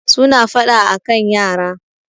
suna fada a kan yara